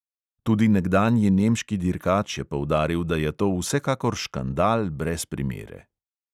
Tudi nekdanji nemški dirkač je poudaril, da je to vsekakor škandal brez primere.